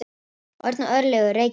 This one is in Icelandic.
Örn og Örlygur, Reykjavík.